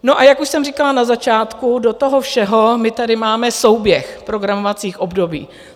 No a jak už jsem říkala na začátku, do toho všeho my tady máme souběh programovacích období.